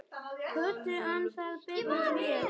Kötu, Hannes, Emblu, Vigfús.